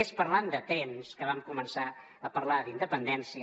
és parlant de trens que vam començar a parlar d’independència